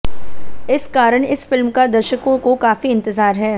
इस कारण इस फिल्म का दर्शकों को काफी इंतजार है